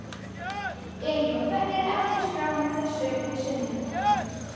Elín: Og hvernig er efnisskráin að þessu sinni?